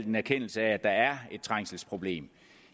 en erkendelse af at der er et trængselsproblem